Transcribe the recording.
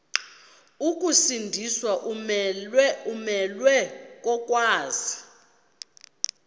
ukusindiswa umelwe kokwazi